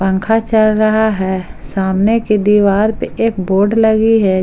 पंखा चल रहा है सामने की दीवार पे एक बोर्ड लगी है।